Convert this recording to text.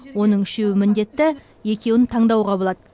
оның үшеуі міндетті екеуін таңдауға болады